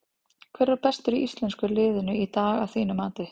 Hver var bestur í íslenska liðinu í dag að þínu mati?